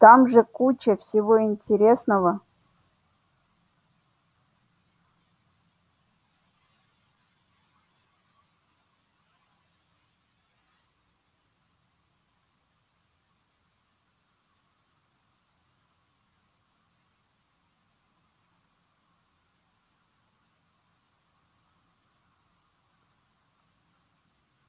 там же куча всего интересного